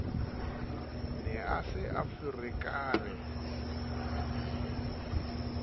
ne a se a ferekane